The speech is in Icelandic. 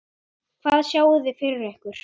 Hvað sjáið þið fyrir ykkur?